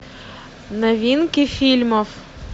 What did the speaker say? новинки фильмов